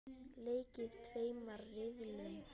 Leikið í tveimur riðlum.